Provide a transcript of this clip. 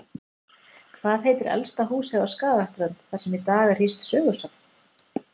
Hvað heitir elsta húsið á Skagaströnd, þar sem í dag er hýst sögusafn?